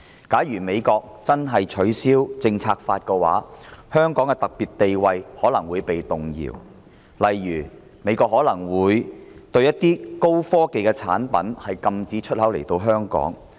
假如美國真的取消《香港政策法》，香港的特殊地位可能會動搖，例如美國可能會禁止某些高科技產品進口香港。